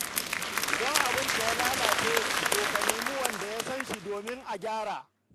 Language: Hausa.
Idan abinka ya lalace, to ka nemi wanda ya san shi domin a gyara.